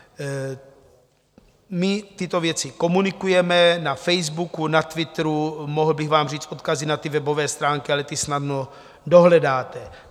My tyto věci komunikujeme na Facebooku, na Twitteru, mohl bych vám říct odkazy na ty webové stránky, ale ty snadno dohledáte.